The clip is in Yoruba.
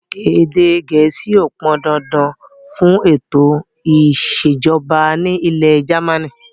Èdè gẹ̀ẹ́sì ó pọn dandan fún ètò ìsèjọba ni ilẹ̀ jamaaní